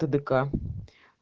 тдк